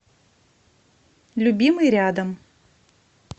любимый рядом